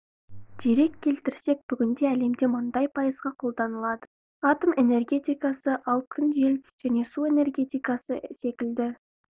дерек келтірсек бүгінде әлемде мұнай пайызға қолданылады атом энергетикасы ал күн жел және су энергетикасы секілді